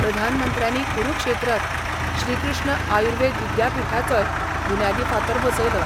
प्रधानमंत्र्यांनी करुक्षेत्रांत श्रीकृष्ण आयुर्वेद विद्यापिठाचोय बुन्यादी फातर बसयलो.